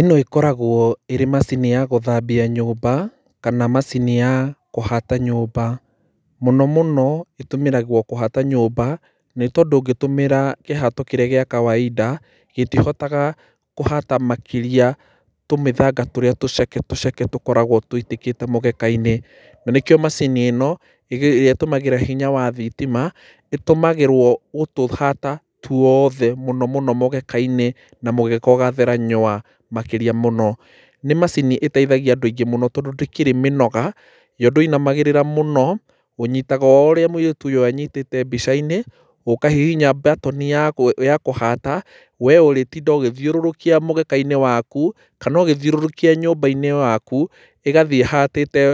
Ĩno ĩkoragwo ĩrĩ macini ya gũthambia nyũmba kana macini ya kũhata nyũmba. Mũno mũno ĩtũmĩragwo kũhata nyũmba nĩtondũ ũngĩtũmĩra kĩhato kĩrĩa gĩa kawainda, gĩtĩhotaga kũhata makĩria tũmĩthanga tũrĩa tũceke tũceke tũkoragwo tũitĩkĩte mũgeka-inĩ. Na nĩkĩo macini ĩno ĩrĩa ĩtũmagĩra hinya wa thitima ĩtũmagĩrwo gũtũhata twoothe mũno mũno mũgeka-inĩ na mũgeka ũgathera nywaa makĩria mũno. Nĩ macini ĩteithagĩa andũ aingĩ mũno tondũ ndĩkĩrĩ minoga, yo ndũinamagĩrĩra mũno, ũnyitaga oũriũ mũirĩtu ũyũ anyitĩte mbica-inĩ, ũkahihinya button ya, ya kũhata we ũritinda ũgĩthiũrũrũkia mũgeka-inĩ waku kana ũgĩthiũrũrũkia nyũmba-inĩ yaku, ĩgathĩĩ ĩhatĩte